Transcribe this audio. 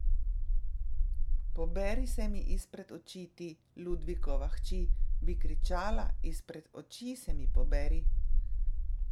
Poberi se mi izpred oči, ti, Ludvikova hči, bi kričala, izpred oči se mi poberi!